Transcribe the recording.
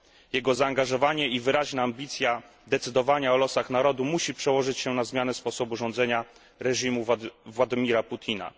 jego zaangażowanie i wyraźna ambicja decydowania o losach narodu musi przełożyć się na zmianę sposobu rządzenia reżimu Władimira Putina.